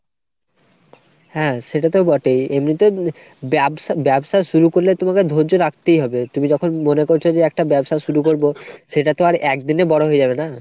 হ্যাঁ সেটা তো বটেই। এমনিতে ব্যবসা ব্যবসা শুরু করলে তোমাকে ধৈয্য রাখতেই হবে। তুমি যখন মনে করছো যে একটা ব্যবসা শুরু করবো সেটা তো আর একদিনে বড়ো হয়ে যাবে না?